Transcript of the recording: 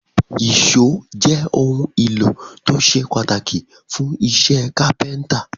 Èṣó jé òun ìlò tó ṣe pàtàkì fún iṣé kápẹ́ńtà